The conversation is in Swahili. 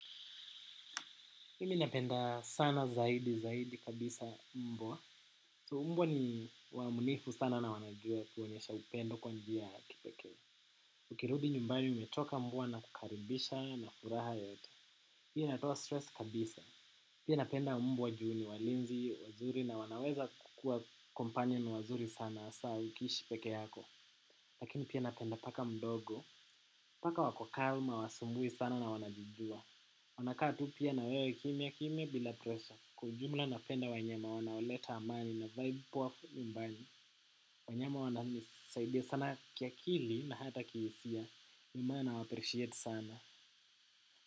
Himi napenda sana zaidi zaidi kabisa mbwa. So mbwa ni waamunifu sana na wanajua kuonesha upendo kwa njia ya kipekee. Ukirudi nyumbani umechoka mbwa anakukaribisha na furaha yote. Pia natoa stress kabisa. Pia napenda mbwa juu ni walinzi, wazuri na wanaweza kukua companion wazuri sana asa ukiishi peke yako. Lakini pia napenda paka mdogo. Paka wako calm, hawasumbui sana na wanajijua. Wanakaa tu pia na wewe kimya kimya bila pressure. Kwa jumla napenda wanyama wanaoleta amani na vibe powa nyumbani. Wanyama wananisaidia sana kiakili na hata kihisia. Mimana nawa appreciate sana.